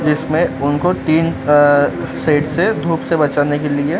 जिसमें उनको टीन अ सेट्स है धूप से बचाने के लिए--